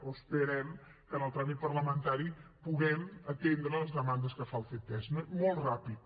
o esperem que en el tràmit parlamentari puguem atendre les demandes que fa el ctesc no molt ràpid